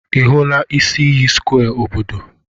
Ị hụla isi iyi square obodo?